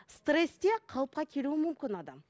стрессте қалыпқа келуі мүмкін адам